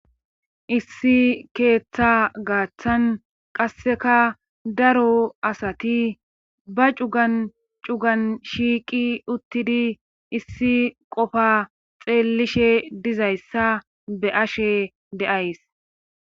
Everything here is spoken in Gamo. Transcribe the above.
Issi keeththa gaaththan qasseka daro asati ba cugan cugan shiiqi uttidi issi qofa xeellishe dizayssa be ashe deays.